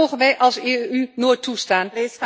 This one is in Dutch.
Dat mogen wij als EU nooit toestaan.